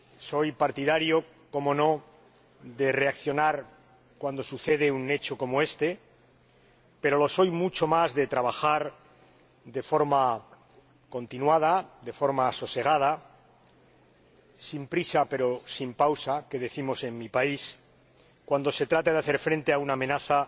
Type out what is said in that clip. Soy partidario, por supuesto, de reaccionar cuando sucede un hecho como este, pero lo soy mucho más de trabajar de forma continuada, de forma sosegada —sin prisa pero sin pausa, que decimos en mi país—, cuando se trata de hacer frente a una amenaza